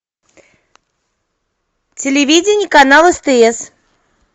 телевидение канал стс